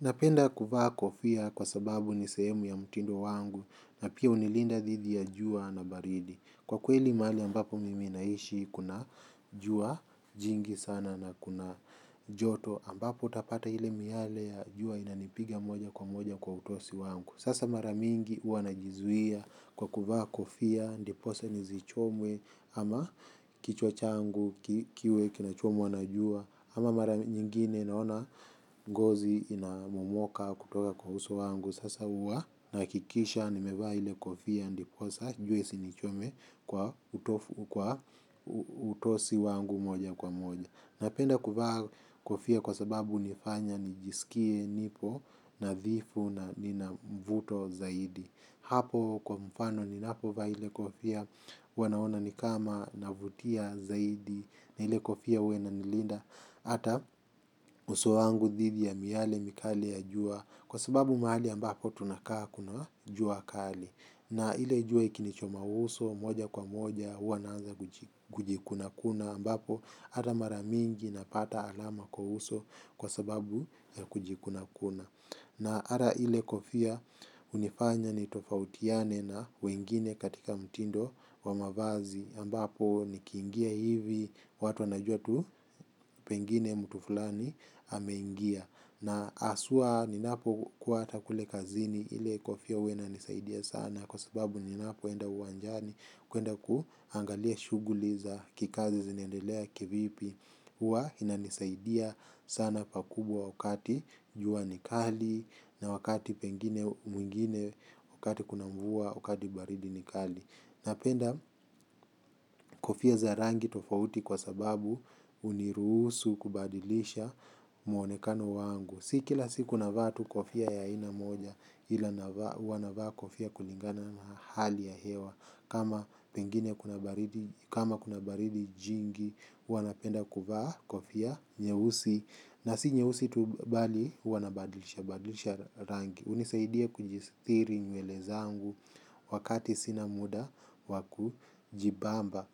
Napenda kuvaa kofia kwa sababu ni sehemu ya mtindo wangu na pia hunilinda dhidhi ya jua na baridi. Kwa kweli mahali ambapo mimi naishi kuna jua jingi sana na kuna joto ambapo utapata ile miale ya jua inanipiga moja kwa moja kwa utosi wangu. Sasa mara mingi huwa najizuia kwa kuvaa kofia ndiposa nisichomwe ama kichwa changu kiwe kinachomwa na jua ama mara nyingine uone. Ngozi inamomoka kutoka kwa uso wangu. Sasa huwa nahakikisha nimevaa ile kofia, ndiposa, jue isinichome kwa utosi wangu moja kwa moja. Napenda kuvaa kofia kwa sababu hunifanya nijisikie nipo nadhifu na nina mvuto zaidi. Hapo kwa mfano ninapo vaa ile kufia huwa naona ni kama navutia zaidi na ile kofia huwa inanilinda. Hata uso wangu dhidi ya miale mikali ya jua kwa sababu mahali ambapo tunakaa kuna jua kali. Na ile jua ikinichoma uso moja kwa moja huwa naanza kujikuna kuna ambapo hata mara mingi napata alama kwa uso kwa sababu ya kujikuna kuna. Na hata ile kofia hunifanya nitofautiane na wengine katika mtindo wa mavazi ambapo nikiingia hivi watu wanajua tu pengine mtu fulani ameingia. Na haswa ninapokuwa hata kule kazini ili kofia huwa inanisaidia sana kwa sababu ninapoenda uwanjani kuenda kuangalia shuguli za kikazi zinaendelea kivipi. Huwa inanisaidia sana pakubwa wakati jua ni kali na wakati pengine mwingine wakati kuna mvua wakati baridi ni kali kofia za rangi tofauti kwa sababu hunirusu kubadilisha mwonekano wangu. Si kila siku navaa tu kofia ya aina moja ila navaa huwa navaa kofia kulingana na hali ya hewa. Kama pengine kuna baridi jingi huwa napenda kuvaa kofia nyeusi. Na si nyeusi tu bali huwa nabadilisha, badilisha rangi hunisaidia kujistiri nyele zangu wakati sina muda wa kujibamba.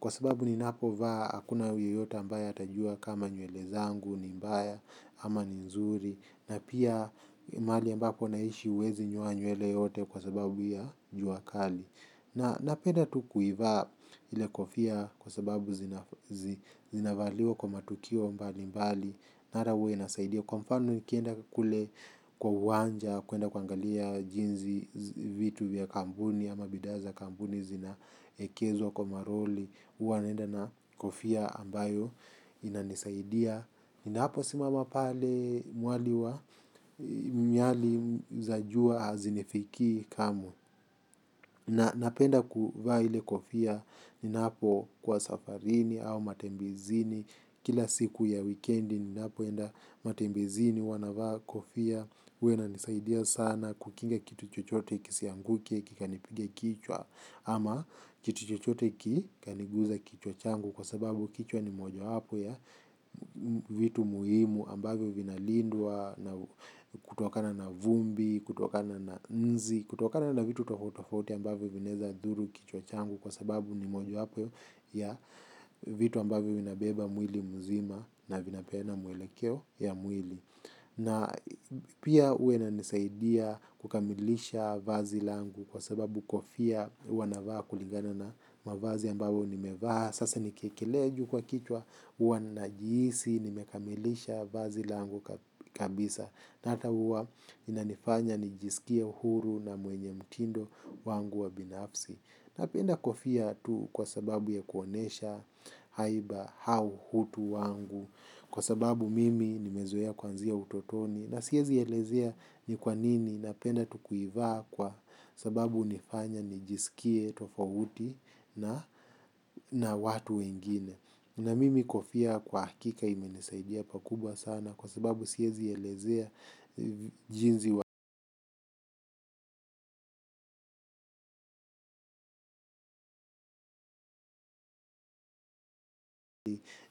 Kwa sababu ni napo vaa hakuna yeyota ambaye atajua kama nywele zangu ni mbaya. Ama ni nzuri na pia mahali ambapo naishi huwezi nyoa nywele yote kwa sababu ya jua kali. Na napenda tu kuivaa ili kofia kwa sababu zinavaliwa kwa matukio mbali mbali. Na hata huwa inasaidia kwa mfano nikienda kule kwa uwanja kuenda kuangalia jinsi vitu vya kampuni ama bidhaa za kampuni zinaekezwa kwa maroli huwa naenda na kofia ambayo inanisaidia. Ninapo simama pale mwali wa miali za jua hazinifikii kamwe. Na napenda kuvaa ile kofia ninapo kuwa safarini au matembezini kila siku ya weekendi ninapoenda matembezini huwa navaa kofia huwa inisaidia sana kukinga kitu chochote kisianguke kikanipiga kichwa ama kitu chochote ki kaniguza kichwa changu kwa sababu kichwa ni mojawapo ya vitu muhimu ambavyo vinalindwa na kutokana na vumbi kutokana na nzi kutokana na vitu tofauti tofauti ambavyo vinaeza dhuru kichwa changu kwa sababu ni mojawapo ya vitu ambavyo vinabeba mwili mzima na vinapeana mwelekeo ya mwili. Na pia huwa inanisaidia kukamilisha vazi langu kwa sababu kofia huwa navaa kulingana na mavazi ambayo ni mevaa. Sasa nikekelea juukwa kichwa huwa najihisi nimekamilisha vazi langu kabisa. Na hata huwa inanifanya nijisikie huru na mwenye mtindo wangu wa binafsi. Napenda kofia tu kwa sababu ya kuonyesha haiba au utu wangu. Kwa sababu mimi nimezoea kuanzia utotoni. Na siezi elezea ni kwa nini napenda tu kuivaa kwa sababu hunifanya nijiskie tofauti na watu wengine. Na mimi kofia kwa hakika imenisaidia pakubwa sana kwa sababu siezi elezea jinsi wa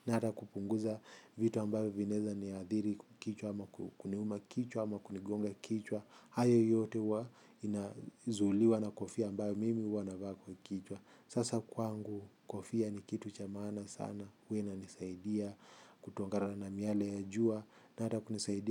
na hata kupunguza vitu ambavyo vinaweza niathiri kichwa ama kuniuma kichwa ama kunigonga kichwa. Hayo yote huwa inazuiliwa na kofia ambayo mimi huwana navaa kwa kichwa. Sasa kwangu kofia ni kitu cha maana sana huwa inanisaidia kutokana na na miale ya jua na hata kunisaidia.